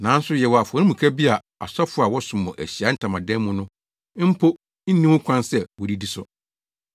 Nanso yɛwɔ afɔremuka bi a Asɔfo a wɔsom wɔ Ahyiae Ntamadan mu no mpo nni ho kwan sɛ wodidi so.